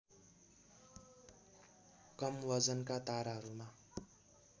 कम वजनका ताराहरूमा